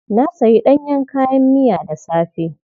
Na sayi ɗanyen kayan miya da safe.